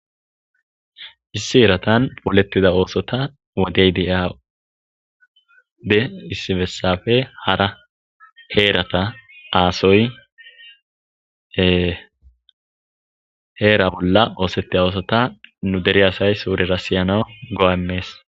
issi eratan polettida oosota wodey deyade issi bessafe hara heerata aasoy heera bolla oosettida oosota nu deri asay suurira siyana go7aemees